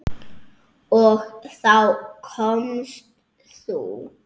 Og þá komst þú.